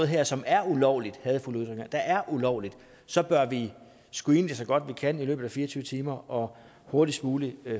her som er ulovligt hadefulde ytringer der er ulovligt så bør vi screene det så godt vi kan i løbet af fire og tyve timer og hurtigst muligt